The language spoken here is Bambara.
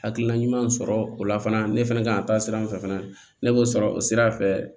Hakilina ɲumanw sɔrɔ o la fana ne fɛnɛ kan ka taa sira min fɛ fana ne b'o sɔrɔ o sira fɛ